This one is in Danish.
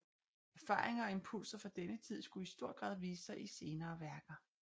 Erfaringer og impulser fra denne tid skulle i stor grad vise sig i senere værker